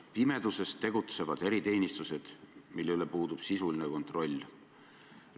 Pimeduses tegutsevad eriteenistused, mille üle puudub sisuline kontroll.